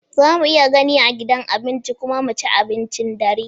Za mu iya gani a gidan abinci kuma mu ci abincin dare?